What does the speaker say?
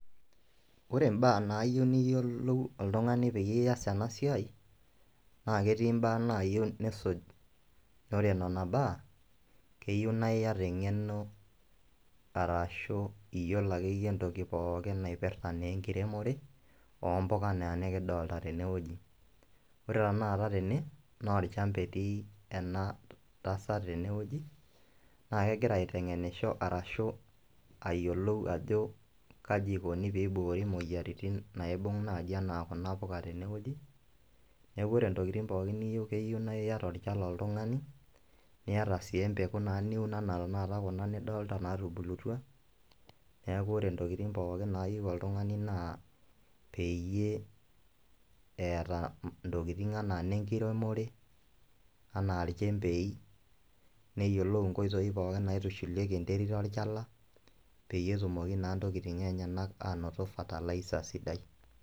Oore imbaaa naayieu niyiolou oltung'ani peyie ias eena siai, naa ketii imbaa naayieu nisuj. Iyiolo nena baa eyieu naa iata eng'ono arashu iyiolo akeyie entoki akeyie imbaa naipirta enkiremore, ompuka enaa enekidolta teene wueji. Oore tanakata teene naa olchamba etii eena tasat teene wueji, naa kgira aiteng'enisho arashu ayiolou aajo kaaji eikoni pee eiboori imueyiaritin, naibung naaji enaa kuuna puuka teene wueji, niaku oore intokitin niyieu keyieu naa iata olchala oltung'ani, niata sii empeku niun enaa kuuna tanakata nidol teene natubulutua, niaku oore intokitin pooki naayieu oltung'ani naa peyie eeta intokitin enaa inenkiremore, enaa ilkembei, neyiolou inkoitoi pooki naitushulieki enterit olchala, peyie etumoki naa inntokitin enyenak anoto Fertilizer.